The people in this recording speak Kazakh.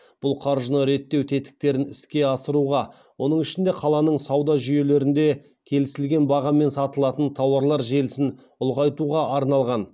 бұл қаржыны реттеу тетіктерін іске асыруға оның ішінде қаланың сауда жүйелерінде келісілген бағамен сатылатын тауарлар желісін ұлғайтуға арналған